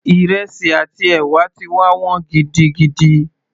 Ìrẹsì àti ẹ̀wà ti wá wọ́n gidigidi